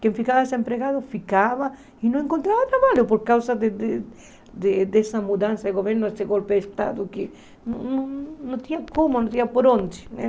Quem ficava desempregado ficava e não encontrava trabalho por causa de de dessa mudança de governo, desse golpe de Estado que não tinha como, não tinha por onde, né?